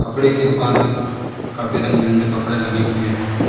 कपड़े की दुकान में काफी रंग बिरंगे कपड़े लगे हुए है।